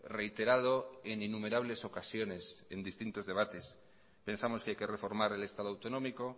reiterado en innumerables ocasiones en distintos debates pensamos que hay que reformar el estado autonómico